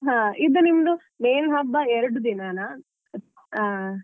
ಹಾ ಇದು ನಿಮ್ದು main ಹಬ್ಬ ಎರಡು ದಿನನಾ.